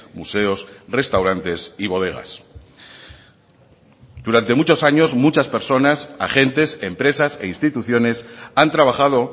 museos restaurantes y bodegas durante muchos años muchas personas agentes empresas e instituciones han trabajado